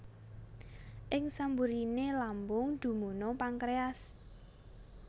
Ing samburiné lambung dumunung pankréas